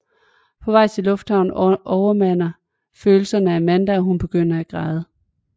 På vej til lufthavnen overmander følelserne Amanda og hun begynder at græde